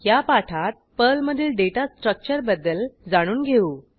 या पाठात पर्लमधील डेटा स्ट्रक्चरबद्दल जाणून घेऊ